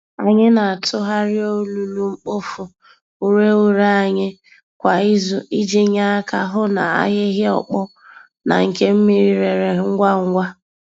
Anyị na-atụgharị olulu-mkpofu-ureghure anyị kwa izu iji nye aka hụ na ahịhịa ọkpọ na nke mmiri rere ngwá ngwá.